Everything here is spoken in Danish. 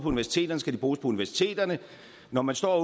universiteterne skal de bruges på universiteterne når man står